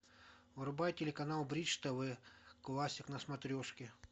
врубай телеканал бридж тв классик на смотрешке